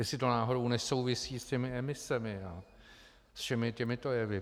Jestli to náhodou nesouvisí s těmi emisemi a se všemi těmito jevy.